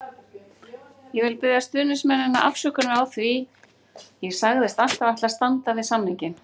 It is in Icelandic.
Ég vil biðja stuðningsmennina afsökunar því ég sagðist alltaf ætla að standa við samninginn.